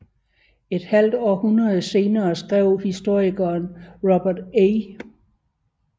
Et halvt århundrede senere skrev historikeren Robert A